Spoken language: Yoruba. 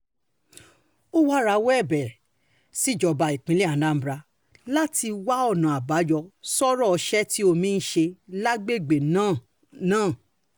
ó wáá rawọ́ ẹ̀bẹ̀ síjọba ìpínlẹ̀ anambra láti wá ọ̀nà um àbáyọ sọ́rọ̀ ọ̀sẹ̀ tí omi ń ṣe lágbègbè um náà um náà